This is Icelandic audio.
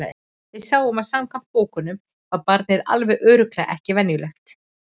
Við sáum að samkvæmt bókunum var barnið alveg örugglega ekki venjulegt.